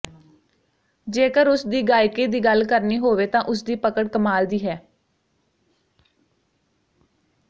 ਜੇਕਰ ਉਸ ਦੀ ਗਾਇਕੀ ਦੀ ਗੱਲ ਕਰਨੀ ਹੋਵੇ ਤਾਂ ਉਸ ਦੀ ਪਕੜ ਕਮਾਲ ਦੀ ਹੈ